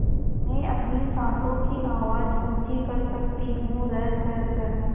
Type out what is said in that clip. मैं अपनी साँसों की आवाज़ ऊँची कर सकती हूँ रसस